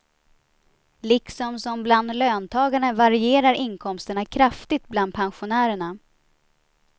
Liksom som bland löntagarna varierar inkomsterna kraftigt bland pensionärerna.